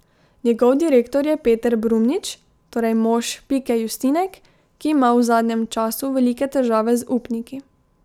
Njegov direktor je Peter Brumnić, torej mož Pike Justinek, ki ima v zadnjem času velike težave z upniki.